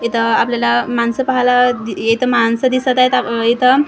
इथं आपल्याला माणसं पाहायला इथं माणसं दिसत आहेत इथं.